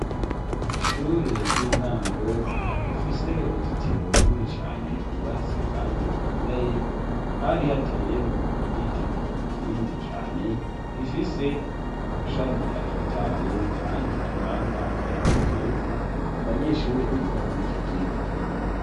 Ishure ry'intango rifise uruzitiro rurini cane rwubatse, kandi rukomeye hari hateyemwo igiti kinini cane gifise amashami atotahaye, kandi atanga akayaga keza ku banyeshure biga kuri ico kigo.